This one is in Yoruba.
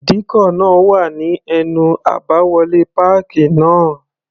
Ìdíkọ̀ náà wà ní ẹnu àbáwọlé páàkì náà.